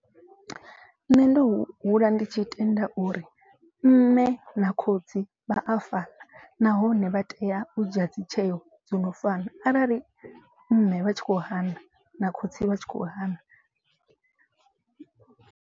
Nṋe ndo hula ndi tshi tenda uri mme na khotsi vha a fana. Nahone vha tea u dzhia dzi tsheyo dzo no fana arali mme vha tshi kho hana na khotsi vha tshi kho hana.